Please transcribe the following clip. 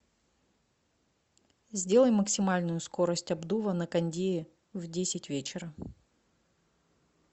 сделай максимальную скорость обдува на кондее в десять вечера